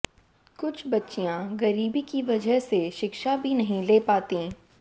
कुछ बच्चियां गरीबी की वजह से शिक्षा भी नहीं ले पातीं